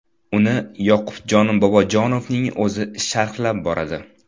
Uni Yoqubjon Bobojonovning o‘zi sharhlab boradi.